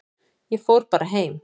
Ég fór bara heim.